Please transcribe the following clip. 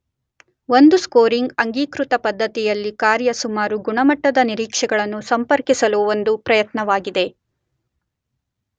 ಒಂದು ಸ್ಕೋರಿಂಗ್ ಅಂಗೀಕೃತ ಪದ್ಧತಿಯಲ್ಲಿ ಕಾರ್ಯ ಸುಮಾರು ಗುಣಮಟ್ಟದ ನಿರೀಕ್ಷೆಗಳನ್ನು ಸಂಪರ್ಕಿಸಲು ಒಂದು ಪ್ರಯತ್ನವಾಗಿದೆ.